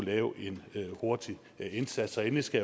lave en hurtig indsats endelig skal